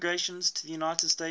swiss immigrants to the united states